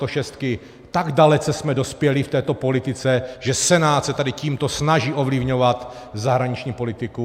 Tak dalece jsme dospěli v této politice, že Senát se tady tímto snaží ovlivňovat zahraniční politiku.